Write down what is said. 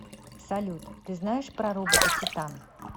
салют ты знаешь про робота титан